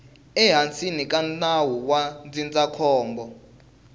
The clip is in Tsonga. ehansi ka nawu wa ndzindzakhombo